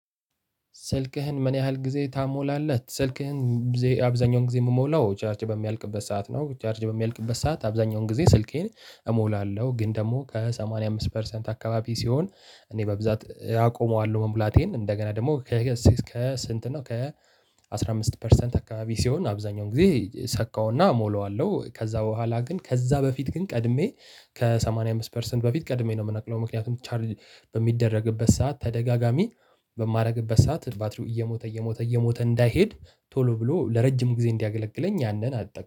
ስልክህን ምን ያህል ጊዜ ታሞላለህ? ስልኬን አብዛኛውን ጊዜ የምሞላው ቻርጅ በሚያልቅበት ሰዓት ነው። ቻርጅ በሚያልቅበት ሰዓት አብዛኛውን ጊዜ ስልኬን እሞላለሁ። ግን ደግሞ ከሰማንያ አምስት ፐርሰንት አካባቢ ሲሆን እኔ በብዛት አቆመዋለሁ። መሙላቴን እንደገና ደግሞ? ከስንት ነው ከ አስራ አምስት ፐርሰንት አካባቢ ሲሆን አብዛኛውን ጊዜ ሰካውና ሞላዋለሁ። ከዛ በኋላ ግን ከዛ በፊት ግን ቀድሜ ከሰማንያ አምስት ፐርሰንት በፊት ቀድሜ ነው የምነቅለው። ምክንያቱም ቻርጅ በሚደረግበት ሰዓት ተደጋጋሚ በማደርግበት ሰዓት ባትሪው እየሞተ እየሞተ እየሞተ እንዳይሄድ ቶሎ ብሎ ለረጅም ጊዜ እንዲያገለግለኝ ያንን አትጠቅም